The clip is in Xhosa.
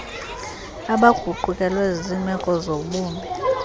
abaguqukelwe ziimeko zobumi